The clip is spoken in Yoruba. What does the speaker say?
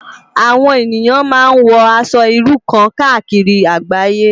Awòn éniyán má n wò Aṣò irú kàn kàákiri àgbáyé